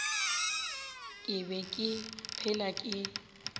ke be ke phela ke